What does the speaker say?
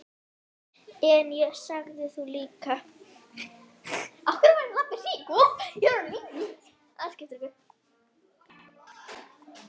En ég sagði: Þú líka.